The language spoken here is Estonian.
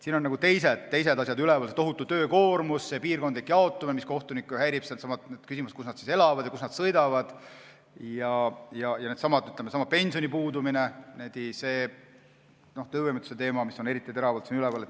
Siin on pigem teised asjad üleval: tohutu töökoormus, selle piirkondlik jaotamine, mis kohtunikke häirib – needsamad küsimused, kus nad elavad ja kuhu nad sõidavad –, ja sellesama töövõimetuspensioni puudumine, mis on eriti teravalt üleval.